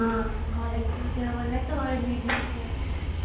ଘରେ ଟିକେ ଦେହ ଭଲ ନାହିଁ ତ ମାଗିକି ପଳେଇଆସିଲି |